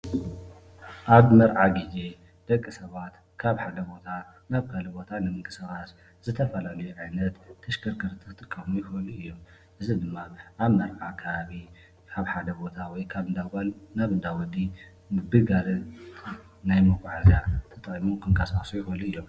ኣብ መርዓ ግዜ ደቂ ሰባት ካብ ሓደ ቦታ ናብ ካሊእ ቦታ ምቅስቃስ ዝተፈላለዩ ዓይነት ተሽከርከርቲ ክጥቀሙ ይኽእሉ እዮም። እዚ ድማ ኣብ መርዓ ከባቢ ካብ ሓደ ቦታ ወይ ካብ እንዳ ጓል ናብ ካሊእ ከባቢ እንዳወዲ ናይ መጓዓዝያ ተጠቂሞም ክንቀሳቀሱ ይኽእሉ እዮም።